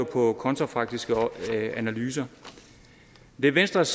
på kontrafaktiske analyser det er venstres